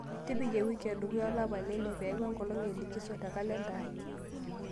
tipika ewiki e dukuya e olapa le ile peeku enkolong e likiso te kalenda aai